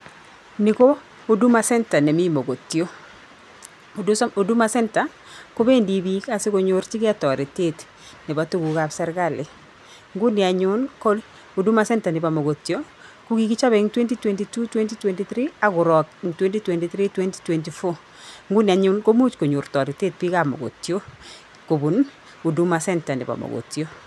Ni ko Huduma centre nemi Mogotio. Huduma Centre, kobendi biik asikonyorchigei toretet nebo tugukab serkali. Nguni anyun, ko Huduma centre nebo Mogotio, kokichopei en 2022/2023 agorook en 2023/2024. Nguni anyun, komuch konyor taretet biikab Mogotio kobun Huduma centre nebo Mogotio.0